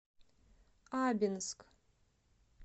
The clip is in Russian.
абинск